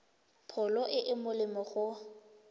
pholo e e molemo go